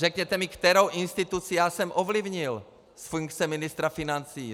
Řekněte mi, kterou instituci já jsem ovlivnil z funkce ministra financí.